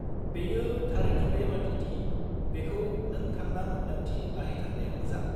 बेयो थारैनो बेबादि दि बेखौ नों थांना मोनदांथि लाहैथारनाया मोजां।